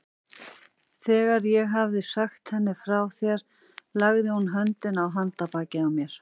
Þegar ég hafði sagt henni frá þér lagði hún höndina á handarbakið á mér.